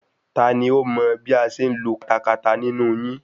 Tani ó mọ bí a ṣe ń lo katakata nínú yín?